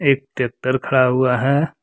एक ट्रैक्टर खड़ा हुआ है।